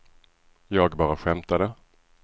jag bara skämtade